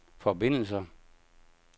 forbindelser